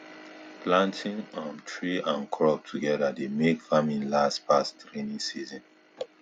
planting um tree and crop together dey make farming last pass rainy season